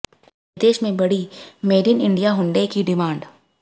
विदेश में बढ़ी मेड इन इंडिया हुंडई की डिमांड